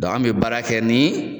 Dɔn an bɛ baara kɛ ni